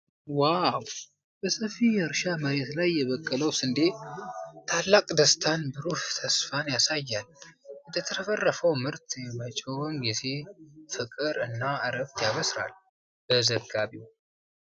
ዋው! በሰፊ የእርሻ መሬት ላይ የበቀለው ስንዴ ታላቅ ደስታንና ብሩህ ተስፋን ያሳያል። የተትረፈረፈ ምርት የመጪውን ጊዜ ፍቅር እና እረፍት ያበስራል። በዘጋቢው